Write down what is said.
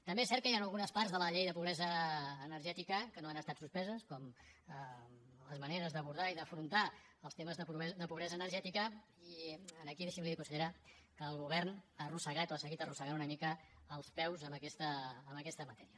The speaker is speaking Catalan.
també és cert que hi han algunes parts de la llei de pobresa energètica que no han estat suspeses com les maneres d’abordar i d’afrontar els temes de pobresa energètica i aquí deixi’m dir li consellera que el govern ha arrossegat o ha seguit arrossegant una mica els peus en aquesta matèria